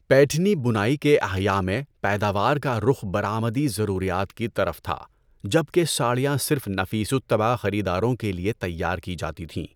پیٹھنی بُنائی کے احیاء میں، پیداوار کا رخ برآمدی ضروریات کی طرف تھا، جبکہ ساڑیاں صرف نفیس الطبع خریداروں کے لیے تیار کی جاتی تھیں۔